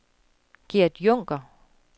Gert Junker